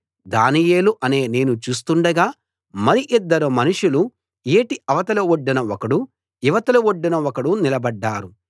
దానియేలు అనే నేను చూస్తుండగా మరి ఇద్దరు మనుషులు ఏటి అవతలి ఒడ్డున ఒకడు ఇవతలి ఒడ్డున ఒకడు నిలబడ్డారు